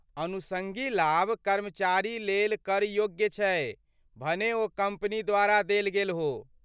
अनुषंगी लाभ कर्मचारी लेल कर योग्य छै भने ओ कम्पनी द्वारा देल गेल हो।